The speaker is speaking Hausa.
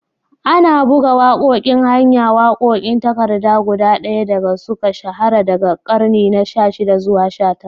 Ana buga waƙoƙin hanya, waƙoƙin takarda guda ɗaya da suka shahara daga ƙarni na 16 zuwa 19.